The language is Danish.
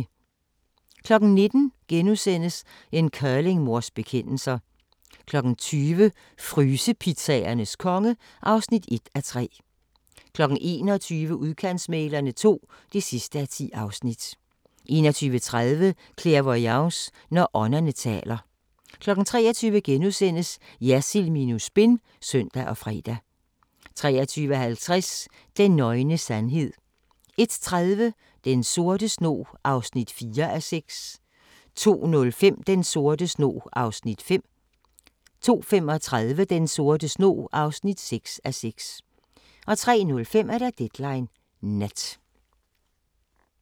19:00: En curlingmors bekendelser * 20:00: Frysepizzaernes konge (1:3) 21:00: Udkantsmæglerne II (10:10) 21:30: Clairvoyance – når ånderne taler 23:00: Jersild minus spin *(søn og fre) 23:50: Den nøgne sandhed 01:30: Den sorte snog (4:6) 02:05: Den sorte snog (5:6) 02:35: Den sorte snog (6:6) 03:05: Deadline Nat